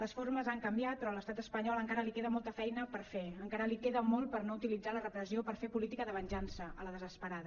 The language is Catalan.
les formes han canviat però a l’estat espanyol encara li queda molta feina per fer encara li queda molt per no utilitzar la repressió per fer política de venjança a la desesperada